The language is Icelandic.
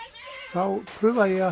þá prufaði ég